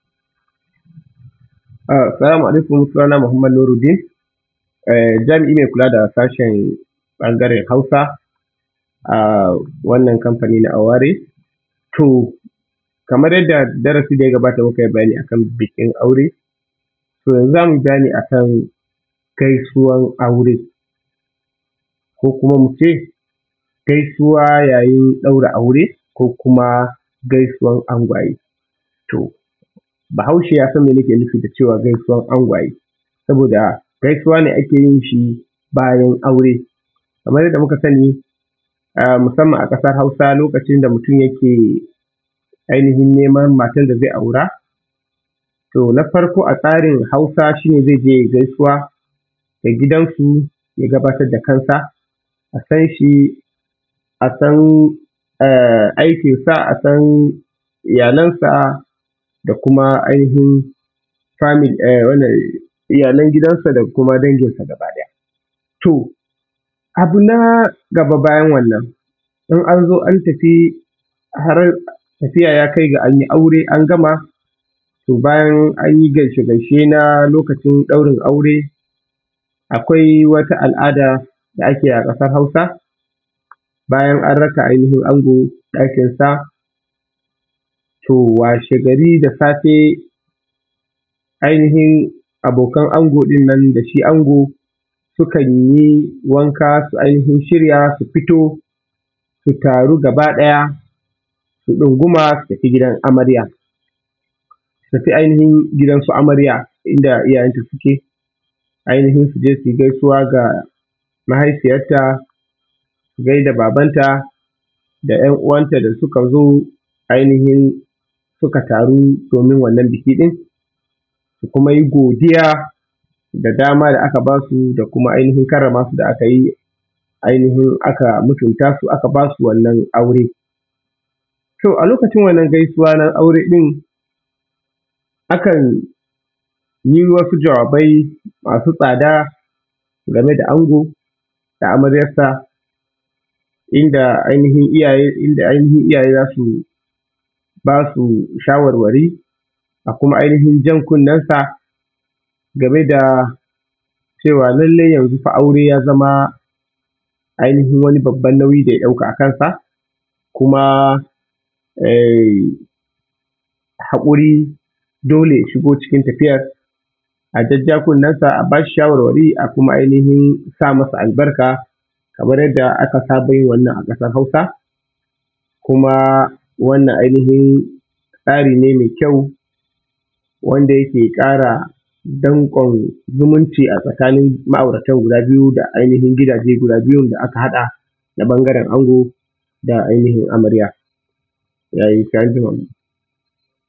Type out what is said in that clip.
Assalamu alaikum. Sunana Muhammad Nuruddin, jami’i mai kula da sashen ɓangaren Hausa, a wannan kamfani na Aware. To kamar yadda darasi da ya gabata muka yi bayani a kan bukin aure, to yanzu za mu yi bayani a kan gaisuwan aure, ko kuma mu ce, gaisuwa yayin ɗaura aure, ko kuma gaisuwan angwaye. To Bahaushe ya san me nake nufi da cewa gaisuwan angwaye, saboda gaisuwa ne ake yin shi bayan aure. Kamar yadda muka sani, musamman a ƙasar Hausa, lokacin da mutum yake ainihin neman matar da zai aura, to na farko a tsarin Hausa shi ne, zai je ya yi gaisuwa a gidansu, ya gabatar da kansa, a san shi, a san aikinsa, a san iyalansa da kuma ainihin family...wannan…iyalan gidansa da kuma danginsa gaba ɗaya. To abu na gaba bayan wannan, in an zo, an tafi tafiya ya kai ga an yi aure, an gama, to bayan an yi gaishe gaishe na lokacin ɗaurin aure, akwai wata al’ada da ake yi a ƙasar Hausa, bayan an raka ango ɗakinsa, to washe gari da safe, ainihin abokan ango ɗin nan da shi ango sukan yi wanka, su ainihin shirya, su fito, su taru gaba ɗaya, su ɗunguma, su tafi gidan amarya, su tafi ainihin gidansu amarya, inda iyayenta suke, ainihin su je su yi gaisuwa ga mahaifiyarta, su gai da babanta da ‘yan uwanta da suka zo ainihin suka taru domin wannan buki ɗin, su kuma yi godiya da dama da aka ba su da kuma ainihin karrama su da aka yi, ainihin mutumta su da aka yi aka ba su wannan aure. To a lokacin wannan gaisuwa na aure ɗin, akan yi wasu jawabai masu tsada game da ango da amaryarsa inda ainihin, inda ainihin iyaye za su ba su shawarwari, a kuma ainihin jan kunnensa, game da cewa lallai yanzu fa, aure ya zama ainihin wani babban nauyi da ya ɗauka a kansa kuma… haƙuri dole ya shigo cikin tafiyar, a jajja kunnensa, a ba shi shawarwari, a kuma ainihin sa masa albarka, kamar yadda aka saba yin wannan a ƙasar Hausa, kuma wannan ainihin tsari ne mai kyau, wanda yake ƙara danƙon zumunci a Tsakanin ma’auratan guda biyu da ainihin gidaje guda biyun da aka haɗa ta ɓangaren ango da ainihin amarya. Ya yi, sai an jima.